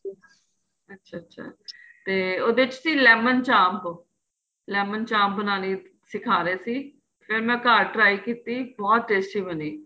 ਅੱਛਾ ਅੱਛਾ ਤੇ ਉਹਦੇ ਚ ਸੀ lemon ਚਾਂਪ lemon ਚਾਂਪ ਬਣਾਣੀ ਸਿਖਾ ਰਹੇ ਸੀ ਫ਼ੇਰ ਮੈਂ ਘਰ try ਕੀਤੀ ਬਹੁਤ tasty ਬਣੀ